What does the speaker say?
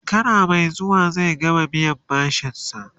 shekara Mai zuwa zai gama biyan bashinsa